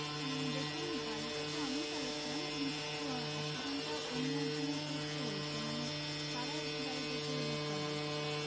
উহ দেখুন গাড়িটা তো আমিই চালাচ্ছিলাম কিন্তু accident টা অন্য একজনের through তেই হয়েছে মানে তারা এসেই গাড়িটাকে ধাক্কা মেরেছিল।